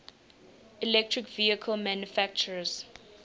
electric vehicle manufacturers